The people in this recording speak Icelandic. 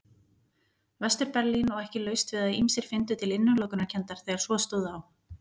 Vestur-Berlín og ekki laust við að ýmsir fyndu til innilokunarkenndar þegar svo stóð á.